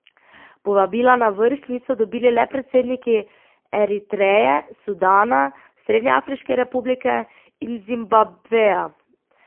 Povabila na vrh niso dobili le predsedniki Eritreje, Sudana, Srednjeafriške republike in Zimbabveja.